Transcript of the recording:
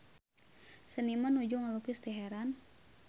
Seniman nuju ngalukis Teheran